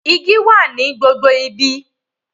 Igi wà ní gbogbo ibi.